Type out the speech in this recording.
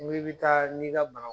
N'i be taa n'i ka bana